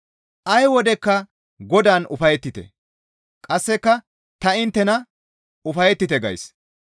Ay wodekka Godaan ufayettite; qasseka ta inttena ufayettite gays.